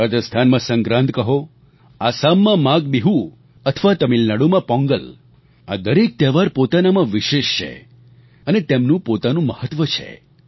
રાજસ્થાનમાં સંક્રાંત કહો આસામમાં માઘબિહૂ અથવા તમિલનાડુમાં પોંગલ આ દરેક તહેવાર પોતાનામાં વિશેષ છે અને તેમનું પોતાનું મહત્વ છે